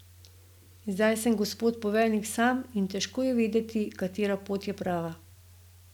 Zdaj sem gospod poveljnik sam in težko je vedeti, katera pot je prava.